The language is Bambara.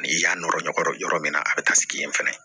Ni i y'a nɔrɔ ɲɔgɔnkɔrɔ yɔrɔ min na a bɛ taa sigi yen fɛnɛ